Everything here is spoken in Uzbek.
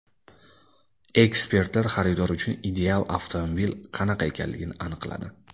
Ekspertlar xaridor uchun ideal avtomobil qanaqa ekanligini aniqladi.